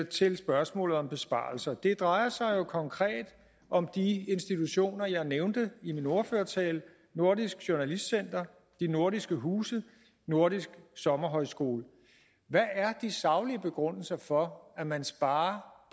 til spørgsmålet om besparelser det drejer sig konkret om de institutioner jeg nævnte i min ordførertale nordisk journalistcenter de nordiske huse nordisk sommerhøjskole hvad er de saglige begrundelser for at man sparer